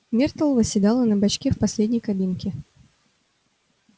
миртл восседала на бачке в последней кабинке